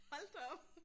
Hold da op